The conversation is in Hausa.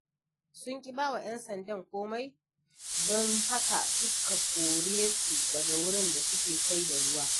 Sun ƙi ba wa ‘yan sandan komai, don haka suka kore su daga wurin da suke sayar da ruwa.